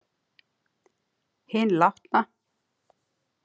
Hinn látna.